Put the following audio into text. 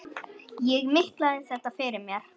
Ég miklaði þetta fyrir mér.